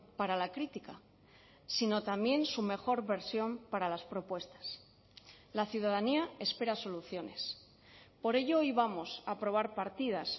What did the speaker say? para la crítica sino también su mejor versión para las propuestas la ciudadanía espera soluciones por ello hoy vamos a aprobar partidas